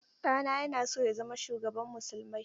Ɗana yana so ya zama shugaban musulmai.